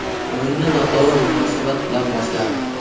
O‘yinni noto‘g‘ri munosabat bilan boshladik.